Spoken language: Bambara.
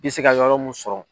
I se ka yɔrɔ mun sɔrɔ.